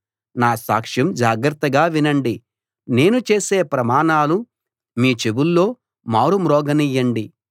నా సాక్షం జాగ్రత్తగా వినండి నేను చేసే ప్రమాణాలు మీ చెవుల్లో మారుమ్రోగనియ్యండి